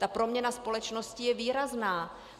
Ta proměna společnosti je výrazná.